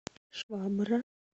швабра